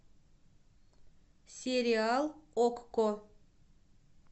сериал окко